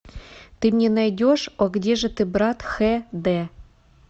ты мне найдешь о где же ты брат хэ дэ